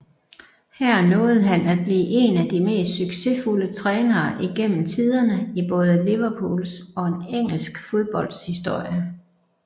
Her nåede han at blive en af de mest succesfulde trænere igennem tiderne i både Liverpools og engelsk fodbolds historie